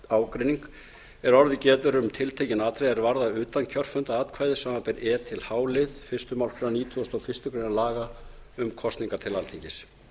ágreining er orðið getur um tiltekin atvik er varða utankjörfundaratkvæði samanber e h lið fyrstu málsgrein nítugasta og fyrstu grein laga um kosningar til alþingis